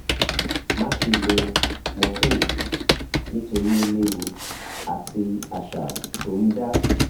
máṣe lo ìsun morphine nítorí ó léwu àti àṣà tó ń dá